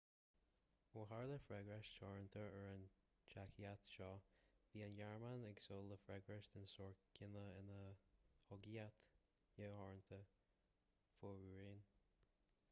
ó tharla freagairt theoranta ar an teaictic seo bhí an ghearmáin ag súil le freagairt den sórt céanna ina chogaíocht neamhtheoranta fomhuireáin